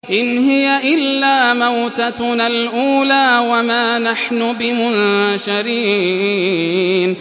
إِنْ هِيَ إِلَّا مَوْتَتُنَا الْأُولَىٰ وَمَا نَحْنُ بِمُنشَرِينَ